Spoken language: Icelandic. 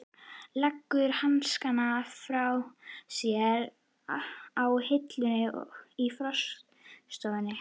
Leggur hanskana frá sér á hilluna í forstofunni.